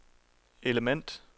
element